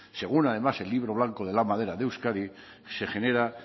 según además el libro blanco de la madera de euskadi se genera